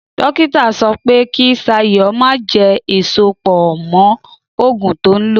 Dókítà sọ pé kí Ṣayọ̀ ó má jẹ èso pọ̀ mọ́ ògùn tó ń lò